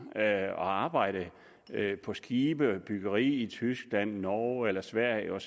at arbejde på skibe til byggeri i tyskland norge eller sverige